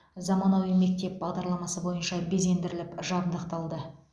заманауи мектеп бағдарламасы бойынша безендіріліп жабдықталды